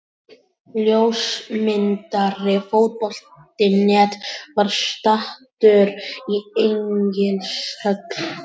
Ljósmyndari Fótbolti.net var staddur í Egilshöll í gærkvöldi á leik Víkings og Grindavíkur í Deildabikarnum.